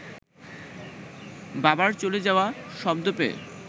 বাবার চলে যাওয়া শব্দ পেয়ে